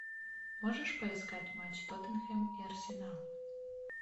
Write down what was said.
можешь поискать матч тоттенхэм и арсенал